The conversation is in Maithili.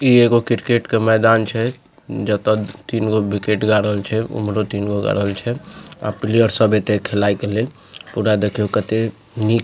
इ एगो क्रिकेट के मैदान छे जेता तीन गो विकेट गारल छै उमहरो तीन गो गारल छै प्लेयर सब एते खेलाय के लेल पूरा देखियो कते निक --